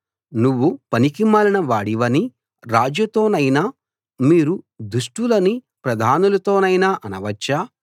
నువ్వు పనికిమాలిన వాడివని రాజుతోనైనా మీరు దుష్టులని ప్రధానులతోనైనా అనవచ్చా